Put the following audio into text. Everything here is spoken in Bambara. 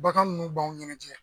Bangan nunnu b'aw ɲɛnɛjɛ